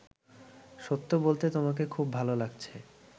সত্য বলতে তোমাকে খুব ভালো লাগছে